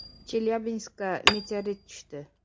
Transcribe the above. Chelyabinskga meteorit tushdi.